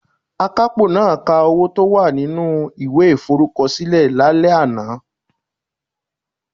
Akapo naa ka owo to wa ninu iwe iforukosile lale ana